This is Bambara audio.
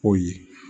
O ye